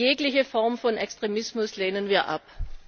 Jegliche Form von Extremismus lehnen wir ab.